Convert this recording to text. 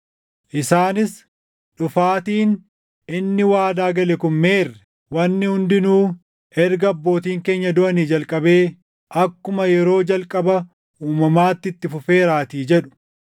Isaanis, “ ‘dhufaatiin’ inni waadaa gale kun meerre? Wanni hundinuu erga abbootiin keenya duʼanii jalqabee akkuma yeroo jalqaba uumamaatti itti fufeeraatii” jedhu.